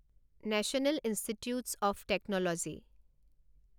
national institutes of technology